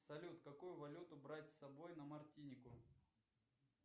салют какую валюту брать с собой на мартинику